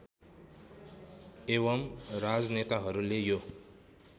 एवं राजनेताहरूले यो